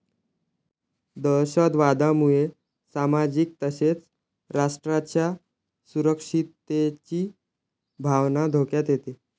दहशतवादामुळे सामाजिक तसेच राष्ट्राच्या सुरक्षिततेची भावना धोक्यात येते.